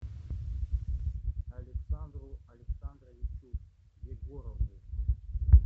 александру александровичу егорову